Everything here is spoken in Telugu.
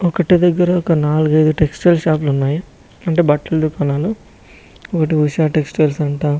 ఒక్కటే దగ్గర నాలుగు ఐదు టెక్స్టైల్ షాప్లు ఉన్నాయి అంటే బట్టలదుకాణాలు ఒకటి ఉష టెక్స్టైల్స్ అంట.